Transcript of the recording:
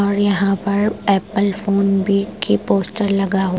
और यहाँ पर एप्पल फोन भी की पोस्टर लगा हुआ --